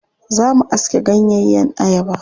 Za mu aske ganyeyen ayaba.